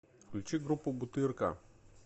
включи группу бутырка